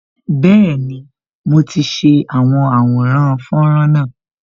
Bẹẹni, mo ti ṣe àwọn àwòrán fọ́nrán náà